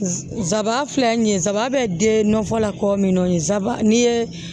Nsabaa filɛ nin ye sabaa bɛ den nɔfɛ la kɔ min na n'i ye